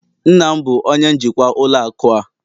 nna m bụ onye njikwa ụlọ akụ a